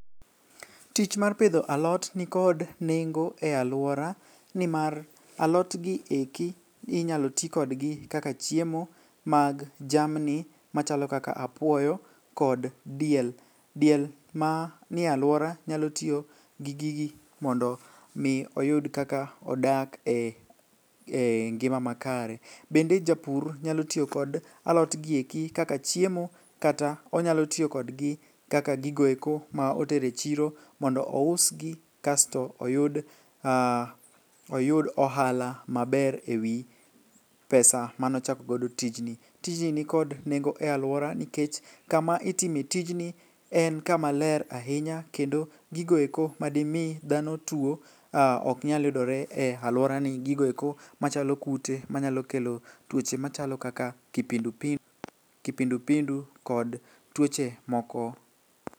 Tich mar pidho alot nikod nengo e alwora nimar alotgi eki inyalo tikodgi kaka chiemo mag jamni machalo kaka apuoyo kod diel. Diel mani alwora nyalo tiyo gi gigi mondo mi oyud kaka odak e ngima makare. Bende japur nyalo tiyo kod alotgi eki kaka chiemo kata onyalo tiyo kodgi kaka gigoeko ma otero e chiro mondo ousgi kasto oyud ohala maber e wi pes a manochakogodo tijni. Tijni nikod nengo e alwora nikech kama itime tijni en kama ler ahinya kendo gigoeko madimi dhano tuo oknyal yudore e alworani gigoeko machalo kute manyalo kelo tuoche machalo kaka kipindupindu kod tuoche moko.